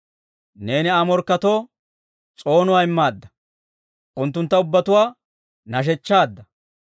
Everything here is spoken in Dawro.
Neeni Aa morkketoo s'oonuwaa immaadda; unttuntta ubbatuwaa nashechchaadda.